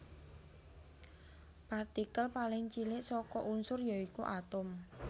Partikel paling cilik saka unsur ya iku atom